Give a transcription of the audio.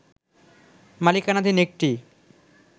মালিকানাধীন একটি